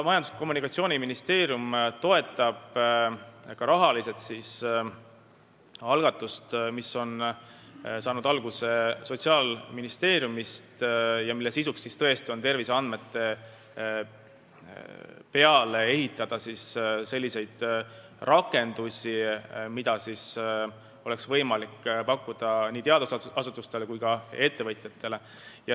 Majandus- ja Kommunikatsiooniministeerium toetab ka rahaga initsiatiivi, mis on saanud alguse Sotsiaalministeeriumist ja mille sisu on ehitada terviseandmete peale selliseid rakendusi, mida oleks võimalik pakkuda nii teadusasutustele kui ka ettevõtjatele.